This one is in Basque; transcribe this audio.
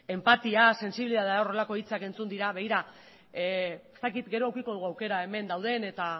enpatia sentsibilitatea etab horrelako hitzak egin dira begira gero edukiko dugu aukera hemen dauden eta